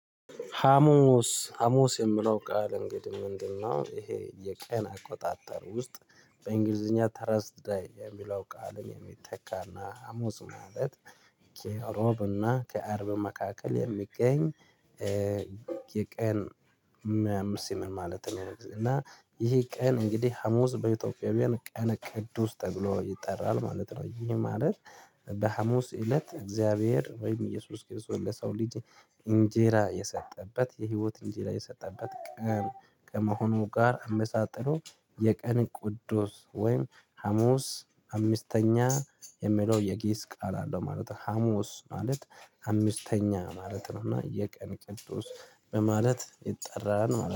ሀሙስ የሚለው ቃል እንግዲህ ምንድነው ይሄ የቀን አቆጣጠር ውስጥ በእንግሊዝኛ ተርስደይ የሚለው ቃልን የሚተካና ሀሙስ ማለት ከረቡዕና ከአርብ መካከል የሚገኝ የቀን ምን ማለት ነው? እና ይሄ ቀን እንግዲህ ሀሙስ በኢትዮጵያዊያን ቀነ ቅዱስ ተብሎ ይጠራል ማለት ነው። ይሄ ማለት በሀሙስ እለት እግዚአብሔር ወይም ኢየሱስ ክርስቶስ ለሰው ልጅ እንጀራ የሰጠበት የህይወት እንጀራ የሰጠበት ቀን ከመሆኑ ጋር አመሳጥሮ የቀን ቅዱስ ወይም ሀሙስ አምስተኛ የሚለው የግዕዝ ቃል አለው ማለት ነው። ሀሙስ ማለት አምስተኛ ማለት ነው። እና የቀን ቅዱስ በማለት ይጠራል ማለት